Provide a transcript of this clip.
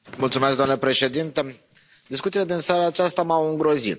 Domnule președinte, discuțiile din seara aceasta m au îngrozit.